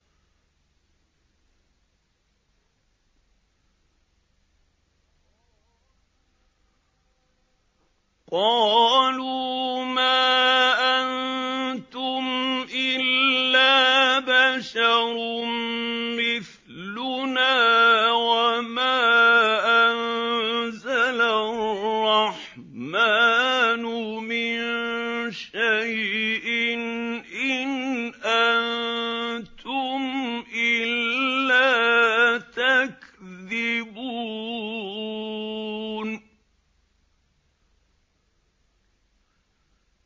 قَالُوا مَا أَنتُمْ إِلَّا بَشَرٌ مِّثْلُنَا وَمَا أَنزَلَ الرَّحْمَٰنُ مِن شَيْءٍ إِنْ أَنتُمْ إِلَّا تَكْذِبُونَ